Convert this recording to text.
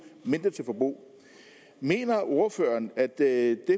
mindre til forbrug mener ordføreren at det